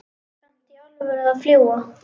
Kanntu í alvöru að fljúga?